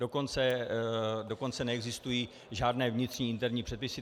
Dokonce neexistují žádné vnitřní interní předpisy.